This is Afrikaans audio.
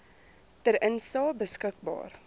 ter insae beskikbaar